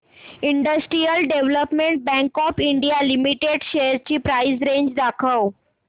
industrial development bank of India limited shares ची price range दाखव